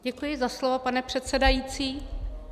Děkuji za slovo, pane předsedající.